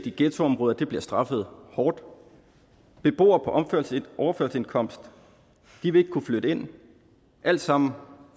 i ghettoområder bliver straffet hårdt beboere på overførselsindkomst vil ikke kunne flytte ind alt sammen